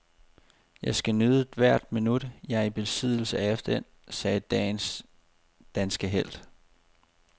Jeg skal nyde hvert minut, jeg er i besiddelse af den, sagde dagens danske helt.